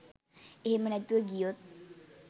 එහෙම නැතුව ගියොත්